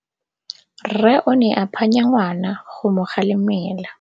Rre o ne a phanya ngwana go mo galemela.